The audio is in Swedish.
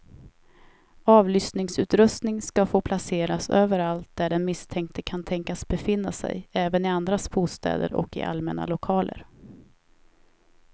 Avlyssningsutrustning ska få placeras överallt där den misstänkte kan tänkas befinna sig, även i andras bostäder och i allmänna lokaler.